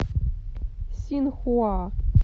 синхуа